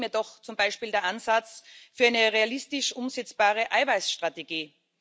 Es fehlt mir doch zum Beispiel der Ansatz für eine realistisch umsetzbare Eiweißstrategie.